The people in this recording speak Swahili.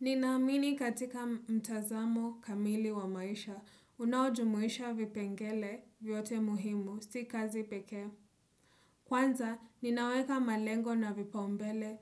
Ninaamini katika mtazamo kamili wa maisha, unaojumuisha vipengele vyote muhimu, si kazi pekee. Kwanza, ninaweka malengo na vipaumbele